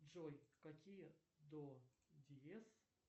джой какие до диез